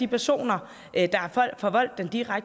der så har